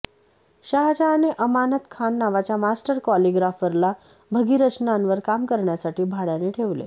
शाहजहां ने अमानत खान नावाच्या मास्टर कॉलिग्राफरला भगीरचनांवर काम करण्यासाठी भाड्याने ठेवले